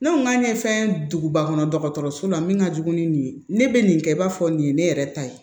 Ne ko n k'a ye fɛn duguba kɔnɔ dɔgɔtɔrɔso la min ka jugu ni nin ye ne bɛ nin kɛ i b'a fɔ nin ye ne yɛrɛ ta ye